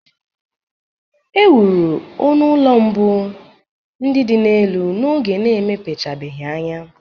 E wuru onu ulọ mbụ ndị dị n'elu n'oge na-emepechabeghị anya